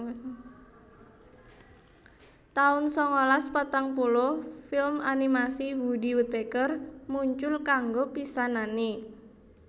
taun sangalas patang puluh Film animasi Woody Woodpecker muncul kanggo pisanané